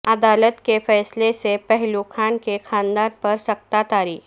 عدالت کے فیصلہ سے پہلو خان کے خاندان پر سکتہ طاری